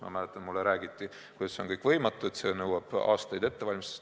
Ma mäletan, et mulle räägiti, kuidas see on kõik võimatu ja nõuab aastaid ettevalmistust.